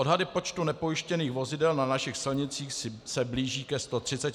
Odhady počtu nepojištěných vozidel na našich silnicích se blíží ke 130 tisícům.